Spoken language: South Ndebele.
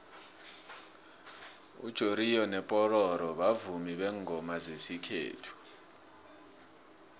ujoriyo nopororo bavumi bengoma zesikhethu